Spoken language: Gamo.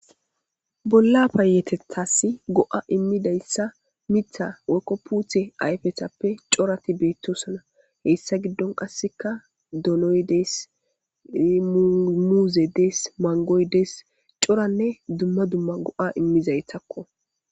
Bolla payetethasi go7a immidayssa mitha woykko puuthe ayfetappe corati beettosona heyssa giddon qasseka donoy dees muuzey dees. Manggoy dees coranne dumma dumma go7a immizaytakko.